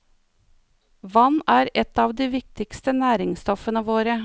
Vann er et av de viktigste næringsstoffene våre.